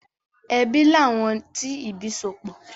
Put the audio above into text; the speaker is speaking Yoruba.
Ẹbí làwọn tí ìbí sopọ̀.